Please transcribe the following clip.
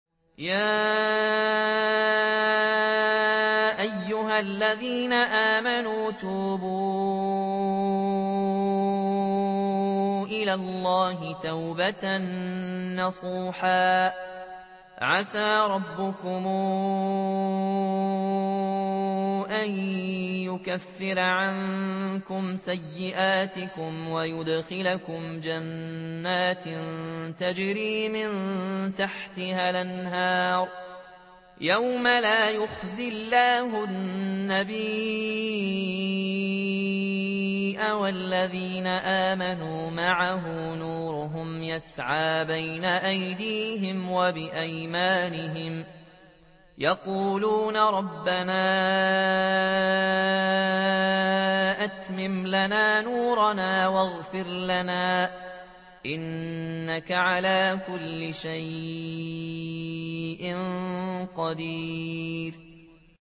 يَا أَيُّهَا الَّذِينَ آمَنُوا تُوبُوا إِلَى اللَّهِ تَوْبَةً نَّصُوحًا عَسَىٰ رَبُّكُمْ أَن يُكَفِّرَ عَنكُمْ سَيِّئَاتِكُمْ وَيُدْخِلَكُمْ جَنَّاتٍ تَجْرِي مِن تَحْتِهَا الْأَنْهَارُ يَوْمَ لَا يُخْزِي اللَّهُ النَّبِيَّ وَالَّذِينَ آمَنُوا مَعَهُ ۖ نُورُهُمْ يَسْعَىٰ بَيْنَ أَيْدِيهِمْ وَبِأَيْمَانِهِمْ يَقُولُونَ رَبَّنَا أَتْمِمْ لَنَا نُورَنَا وَاغْفِرْ لَنَا ۖ إِنَّكَ عَلَىٰ كُلِّ شَيْءٍ قَدِيرٌ